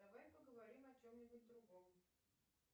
давай поговорим о чем нибудь другом